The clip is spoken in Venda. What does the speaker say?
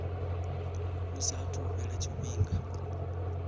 hu saathu u fhela tshifhinga